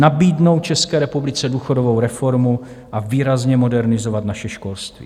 Nabídnout České republice důchodovou reformu a výrazně modernizovat naše školství.